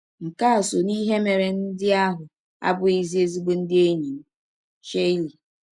Nke a sọ n’ihe mere ndị ahụ abụghịzi ezịgbọ ndị enyi m. ”— Shirley.